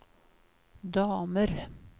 damer